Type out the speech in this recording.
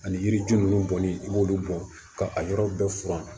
Ani yiriju ninnu bɔli i b'olu bɔ ka a yɔrɔ bɛɛ furan